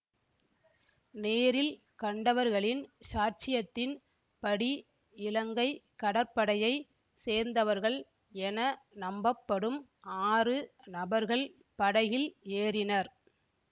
நேரில் கண்டவர்களின் சாட்சியத்தின் படி இலங்கை கடற்படையை சேர்ந்தவர்கள் என நம்பப்படும் ஆறு நபர்கள் படகில் ஏறினர்